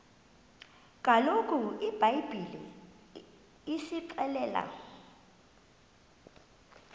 kaloku ibhayibhile isixelela